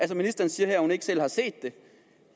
ministeren siger her at hun ikke selv har set det